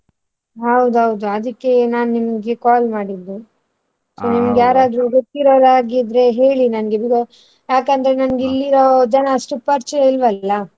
ಹೌದೌದು ಅದಕ್ಕೆ ನಾನ್ ನಿಮ್ಗೆ call ಮಾಡಿದ್ದು ನಿಮ್ಗೆ ಯಾರ್ ಆದ್ರೂ ಗೊತ್ತಿರೊರ ಆಗಿದ್ರೆ ಹೇಳಿ ನನ್ಗೆ ಯಾಕಂದ್ರೆ ನಂಗೆ ಇಲ್ಲಿಯ ಜನಾ ಅಷ್ಟು ಪರಿಚಯ ಇಲ್ವಲ್ಲಾ .